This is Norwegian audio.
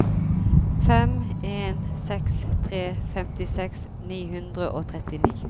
fem en seks tre femtiseks ni hundre og trettini